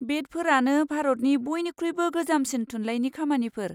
बेडफोरानो भारतनि बइनिख्रुइबो गोजामसिम थुनलाइनि खामानिफोर।